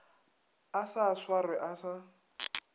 a sa swarwe a sa